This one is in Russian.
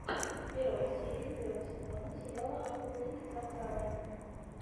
первая серия первого сезона сериала охотники за караванами